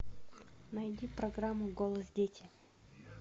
найди программу голос дети